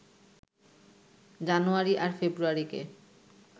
জানুয়ারি আর ফেব্রুয়ারিকে